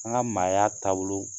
An ka maaya taabolo